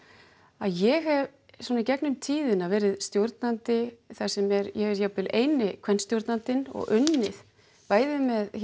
að ég hef í gegnum tíðina verið stjórnandi þar sem ég er jafnvel eini og unnið bæði með